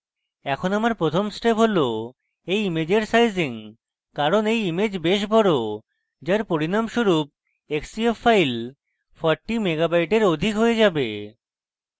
এখন আমার প্রথম step হল এই ইমেজের সাইজিং কারণ এই image বেশ বড় যার পরিনামস্বরূপ xcf file 40 মেগাবাইটের অধিক হয়ে যাবে